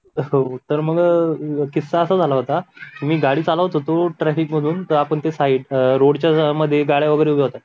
हो तर मग किस्सा असा झाला होता मी गाडी चालवत होतो ट्रॅफिक मधून तर आपण साईड चे अं रोडच्या मध्ये गाड्या वगैरे उभ्या होत्या